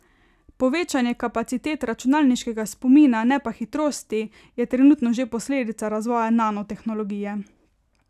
Povečanje kapacitet računalniškega spomina, ne pa hitrosti, je trenutno že posledica razvoja nanotehnologije.